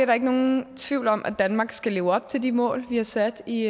der ikke nogen tvivl om at danmark skal leve op til de mål vi har sat i